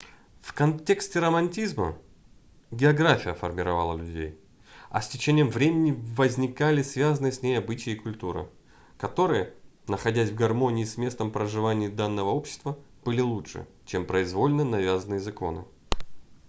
в контексте романтизма география формировала людей а с течением времени возникали связанные с ней обычаи и культура которые находясь в гармонии с местом проживания данного общества были лучше чем произвольно навязанные законы